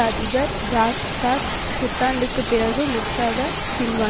அதிபர் Jacques Chirac புத்தாண்டுக்குப் பிறகு முற்றாக பின்வாங்